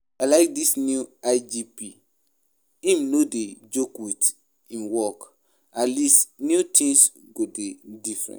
I like dis new IGP, im no dey joke with im work, atleast new things go dey different